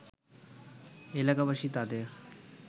এলাকাবাসী তাদের